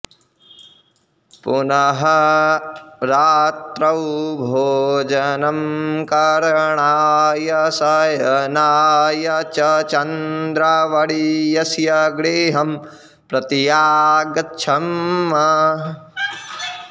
पुनः रात्रौ भोजनं करणाय शयनाय च चन्द्रवर्यस्य गृहं प्रत्यागच्छम्